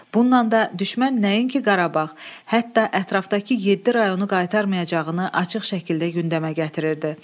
Bununla da düşmən nəinki Qarabağ, hətta ətrafdakı yeddi rayonu qaytarmayacağını açıq şəkildə gündəmə gətirirdi.